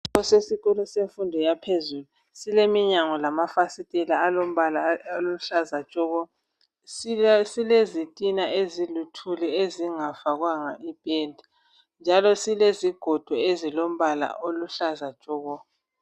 Kusesikolo semfundo yaphezulu, suleminyango lamafasitela alombala oluhlaza tshoko. Silezitina eziluthuli ezingafakwanga ipenda, njalo silezigodo ezilombala oluhlaza tshoko.